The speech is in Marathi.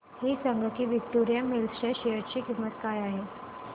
हे सांगा की विक्टोरिया मिल्स च्या शेअर ची किंमत काय आहे